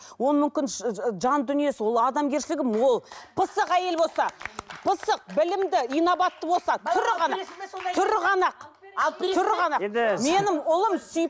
ол мүмкін жан дүниесі ол адамгершілігі мол пысық әйел болса пысық білімді инабатты болса түрі ғана түрі ғана ақ түрі ғана ақ менің ұлым